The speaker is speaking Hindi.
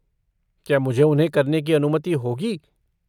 क्या मुझे उन्हें करने की अनुमति होगी?